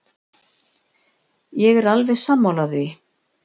Ég er alveg sammála því.